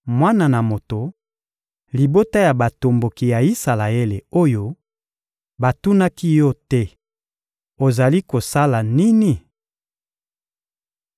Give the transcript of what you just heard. «Mwana na moto, libota ya batomboki ya Isalaele oyo, batunaki yo te: ‹Ozali kosala nini?›